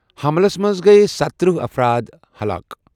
حملَس منٛز گٔیہٕ ستَترہ افراد ہلاک۔